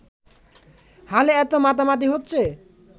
হালে এতো মাতামাতি হচ্ছে